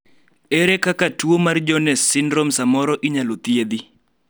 ere kaka tuo mar Jones syndrome samoro inyalo thiedhi